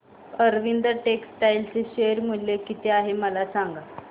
Arvind textile चे share मूल्य किती आहे मला सांगा